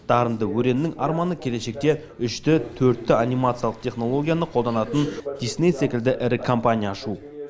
дарынды өреннің арманы келешекте үш д төрт д анимациялық технологияны қолданатын дисней секілді ірі компания ашу